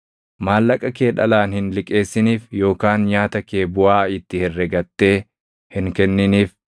Maallaqa kee dhalaan hin liqeessiniif yookaan nyaata kee buʼaa itti herregattee hin kenniniif.